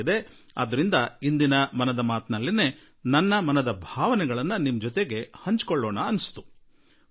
ಆದುದರಿಂದ ಇಂದು ಮನದ ಮಾತಿನಲ್ಲೇ ನನ್ನ ಈ ಭಾವನೆಯನ್ನು ಪ್ರಕಟಿಸೋಣ ಎಂದು ನಾನು ಮನಸ್ಸು ಮಾಡಿಬಿಟ್ಟೆ